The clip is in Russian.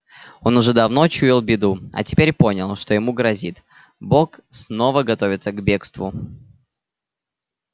он уже давно чуял беду а теперь понял что ему грозит бог снова готовится к бегству